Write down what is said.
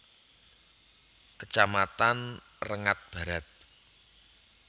Kecamatan Rengat Barat